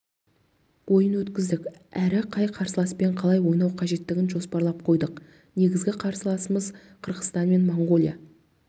ойын өткіздік әрі қай қарсыласпен қалай ойнау қажеттігін жоспарлап қойдық негізгі қарсыласымыз қырғызстан мен моңғолия